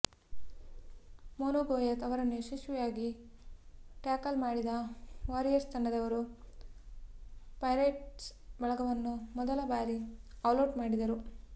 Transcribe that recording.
ಮೋನು ಗೋಯತ್ ಅವರನ್ನು ಯಶಸ್ವಿಯಾಗಿ ಟ್ಯಾಕಲ್ ಮಾಡಿದ ವಾರಿಯರ್ಸ್ ತಂಡದವರು ಪೈರೇಟ್ಸ್ ಬಳಗವನ್ನು ಮೊದಲ ಬಾರಿ ಆಲೌಟ್ ಮಾಡಿದರು